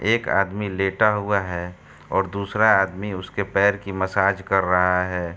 एक आदमी लेटा हुआ है और दूसरा आदमी उसके पैर की मसाज कर रहा है।